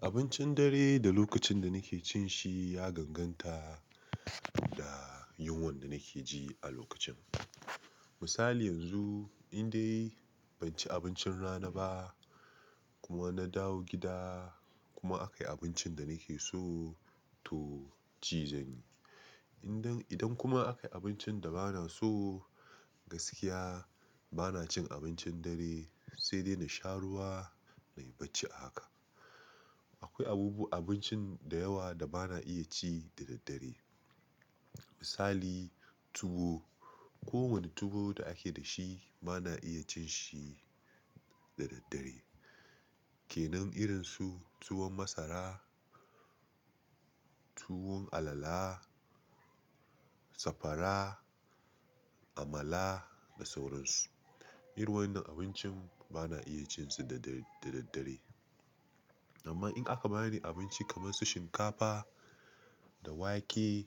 Abincin dare da lokacin da nake cin shi ya ganganta da yunwan da nake ji a lokacin. Misali yanzu, in dai ban ci abincin rana ba kuma na dawo gida kuma aka yi abincin da nake so to ci zanyi. Idan kuma aka yi abincin da bana so gaskiya bana cin abincin dare sai dai na sha ruwa na yi bacci a haka. Akwai abubu-- abincin da yawa da bana iya ci da daddare. Misali tuwo. Kowane tuwo da ake da shi bana iya cin shi da daddare. Ke nan irinsu tuwon masara, tuwon alala, safara, amala da sauran su. Iru wannan abincin bana iya cin su da daddare. Amma in aka bani abinci kamar su shinkafa da wake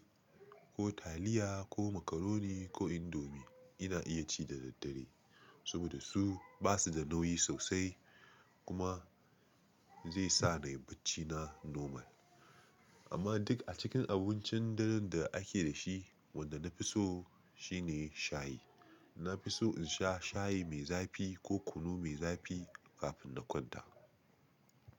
ko taliya ko macaroni ko indomie ina iya ci da daddare saboda su ba su da nauyi sosai kuma zai sa na yi bacci na normal. Amma duk a cikin abincin dare da ake da shi, wanda na fi so shi ne shayi. Na fi so in sha shayi mai zafi ko kunu mai zafi kafin na kwanta.